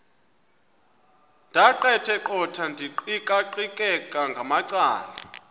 ndaqetheqotha ndiqikaqikeka ngamacala